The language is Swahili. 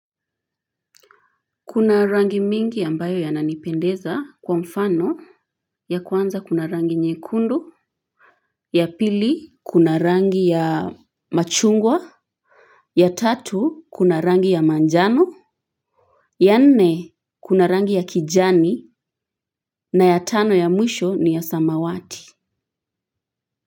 Kuna rangi mingi ya mbayo yananipendeza, kwa mfano ya kwanza kuna rangi nyekundu, ya pili kuna rangi ya machungwa, ya tatu kuna rangi ya manjano, ya nne kuna rangi ya kijani, na ya tano ya mwisho ni ya samawati.